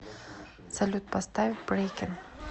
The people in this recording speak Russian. салют поставь брэйкен